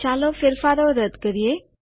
ચાલો ફેરફારો રદ કરીએ